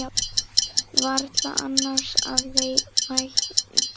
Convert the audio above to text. Varla annars að vænta.